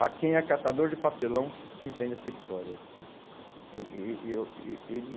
ah, quem é catador de papelão que entende essa história. Eu, eh ele